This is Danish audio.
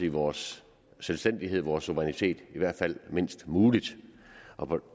i vores selvstændighed vores suverænitet i hvert fald mindst muligt